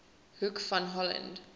hoek van holland